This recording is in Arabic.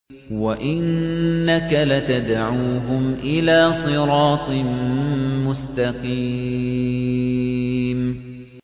وَإِنَّكَ لَتَدْعُوهُمْ إِلَىٰ صِرَاطٍ مُّسْتَقِيمٍ